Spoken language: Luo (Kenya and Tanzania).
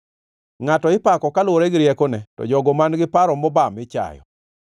Ngʼato ipako kaluwore gi riekone, to jogo man-gi paro mobam ichayo.